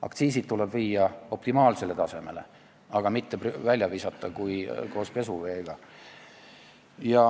Aktsiisid tuleb viia optimaalsele tasemele, aga mitte koos pesuveega välja visata.